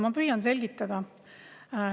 Ma püüan selgitada.